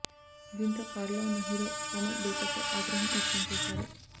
దీంతో కారులో ఉన్న హీరో కోమల్ బైకర్ పై ఆగ్రహం వ్యక్తం చేశారు